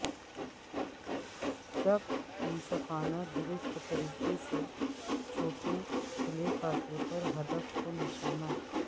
شق منصفانہ درست طریقے سے چھوٹے کھلے فاصلے پر ہدف کو نشانہ